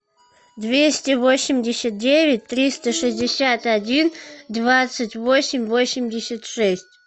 двести восемьдесят девять триста шестьдесят один двадцать восемь восемьдесят шесть